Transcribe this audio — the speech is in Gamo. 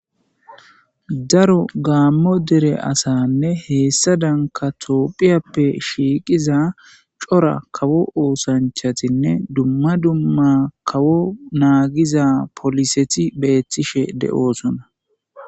Daaro gamo deere asanne hessadanika tophphiyappe shiqqiza coora kawo ossanchchatine dumma dumma kawo naggiza polliseti bettishe de'ossona.